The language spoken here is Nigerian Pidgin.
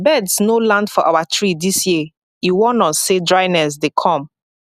birds no land for our tree this year e warn us say dryness dey come